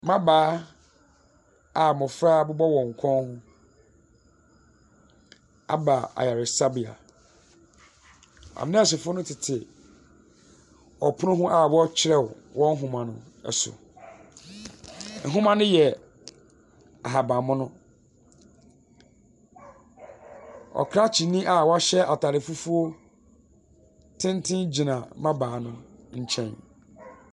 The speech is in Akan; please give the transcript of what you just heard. Mmabaa a abɔfra bɔ wɔn kɔn aba ayaresabea, anɛɛsefo no tete ɔpono anim a wɔrekyerɛw wɔn nwoma ɛso. Nwoma no a yɛ ahabanmono. Ɔkrakyeni a wahyɛ ataade fufuo tenten gyina mmabaa no nkyɛn.